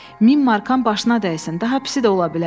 1000 markan başına dəysin, daha pisi də ola bilərdi.